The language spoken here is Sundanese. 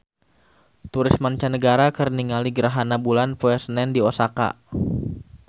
Turis mancanagara keur ningali gerhana bulan poe Senen di Osaka